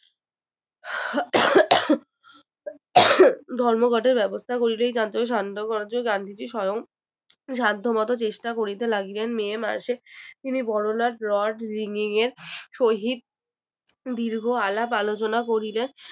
ধর্ম ঘটের ব্যবস্থা করল এই চাঞ্চল্যকে শান্ত করার জন্য গান্ধীজি স্বয়ং সাধ্য মতো চেষ্টা করিতে লাগিলেন মে মাসে তিনি বরলাট lord রিংগিং এর সহিত দীর্ঘ আলাপ আলোচনা করিলেন